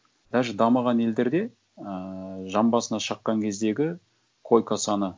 даже дамыған елдерде ыыы жан басына шыққан кездегі койка саны